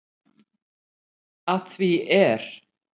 Að því er